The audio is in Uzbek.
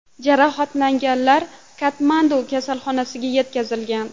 Jarohatlanganlar Katmandu kasalxonasiga yetkazilgan.